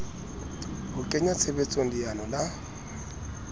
ho kenya tshebetsong leano la